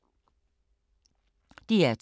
DR2